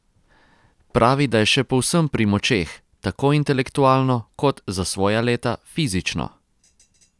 Pravi, da je še povsem pri močeh, tako intelektualno kot, za svoja leta, fizično.